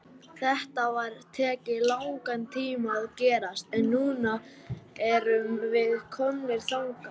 Þetta hefur tekið langan tíma að gerast, en núna erum við komnir þangað.